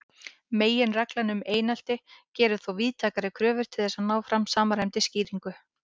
Meginreglan um einsleitni gerir þó víðtækari kröfur til þess að ná fram samræmdri skýringu.